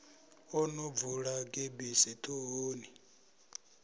o no bvula gebisi ṱhohoni